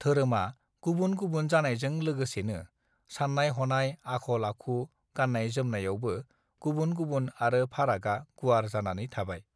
धोरोमा गुबुन गुबुन जानायजों लोगोसेनो साननाय हनाय आखल आखु गाननाय जोमनायावबो गुबुन गुबुन आरो फारागआ गुवार जानानै थाबाय